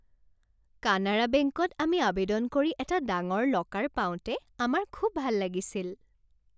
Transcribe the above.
কানাড়া বেংকত আমি আৱেদন কৰি এটা ডাঙৰ লকাৰ পাওঁতে আমাৰ খুব ভাল লাগিছিল।